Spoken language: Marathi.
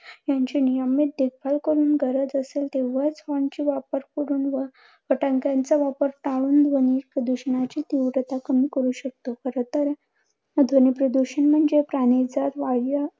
यांची नियमित देखभाल करून, गरज असेल तेंव्हाच horn चे वापर करून व फटाक्यांचा वापर टाळून. ध्वनी प्रदूषणाची तीव्रता कमी करू शकतो. खरतर ध्वनी प्रदूषण म्हणजे प्राण्याचा